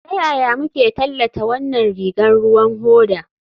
Ta yaya muke tallata wannan rigar ruwan hoda?